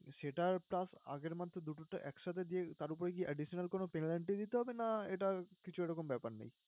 সেটার charge আগের month এ দুটোটা একসাথে দিয়ে তার উপরে কি additional কোনো planty ই দিতে হবে না এটা কিছু এরকম ব্যাপার নেই?